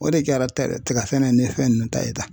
O de kɛra tɛrɛ tiga sɛnɛ ni fɛn nunnu ta ye tan